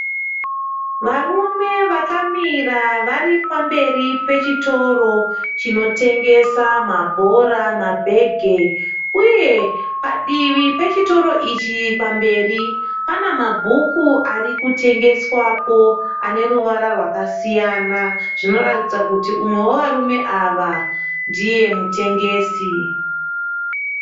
Varume vakamira vari pamberi pechitoro chinotengesa mabhora, mabhege uye padivi pechitoro ichi pamberi pane mabhuku ari anotengeswapo ane ruvara rwakasiyana. Zvinoratidza kuti umwe wevarume ava ndiye mutengesi.